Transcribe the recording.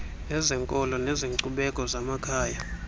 ezenkolo nezenkcubeko zamakhaya